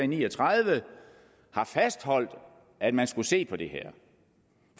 ni og tredive har fastholdt at man skulle se på det her